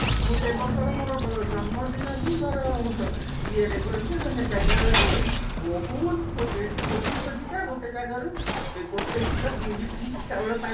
ମୁଁ ସେବର୍ଷ ର ମୋର ଜନ୍ମ ଦିନ ବି ମୋର ଇଏ ରେ ମୋର କଣ କି ବେଙ୍ଗେଲୋର ରେ ବହୁତ ଖୋ ଖୋଜି ଖୋଜି କା ଗୋଟେ ଜାଗାରୁ ଗୋଟେ କିଲୋ ବିରିୟାନୀ ଚାଉଳ ପାଇ